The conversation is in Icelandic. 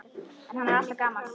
En hann er alltaf gamall.